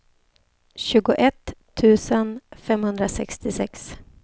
tjugoett tusen femhundrasextiosex